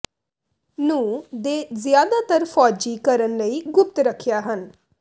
ਨੂੰ ਦੇ ਜ਼ਿਆਦਾਤਰ ਫੌਜੀ ਕਾਰਨ ਲਈ ਗੁਪਤ ਰੱਖਿਆ ਹਨ